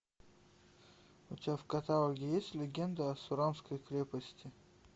у тебя в каталоге есть легенда о сурамской крепости